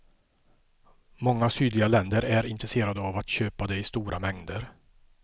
Många sydliga länder är intresserade av att köpa det i stora mängder.